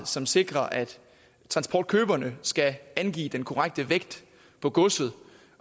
som sikrer at transportkøberne skal angive den korrekte vægt af godset